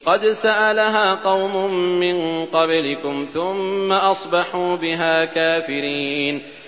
قَدْ سَأَلَهَا قَوْمٌ مِّن قَبْلِكُمْ ثُمَّ أَصْبَحُوا بِهَا كَافِرِينَ